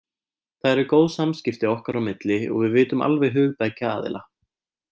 Það eru góð samskipti okkar á milli og við vitum alveg hug beggja aðila.